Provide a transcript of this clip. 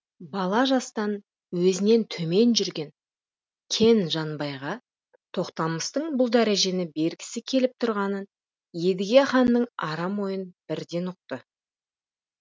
бала жастан өзінен төмен жүрген кен жанбайға тоқтамыстың бұл дәрежені бергісі келіп тұрғанын едіге ханның арам ойын бірден ұқты